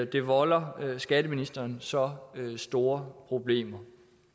det volder skatteministeren så store problemer